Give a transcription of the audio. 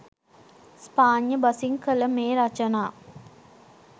ස්පාඤ්ඤ බසින් කළ මේ රචනා